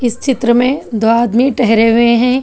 इस चित्र में दो आदमी ठहरे हुए हैं।